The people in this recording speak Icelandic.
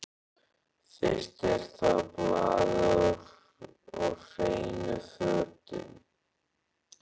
Fyrst er það baðið og hreinu fötin.